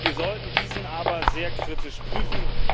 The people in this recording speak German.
Wir sollten diesen aber sehr kritisch prüfen.